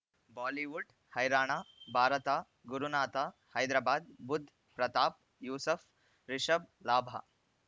Bollywood ಹೈರಾಣ ಭಾರತ ಗುರುನಾಥ ಹೈದರಾಬಾದ್ ಬುಧ್ ಪ್ರತಾಪ್ ಯೂಸುಫ್ ರಿಷಬ್ ಲಾಭ